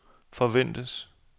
forventes